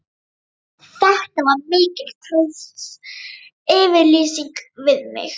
Þetta var mikil trausts yfirlýsing við mig.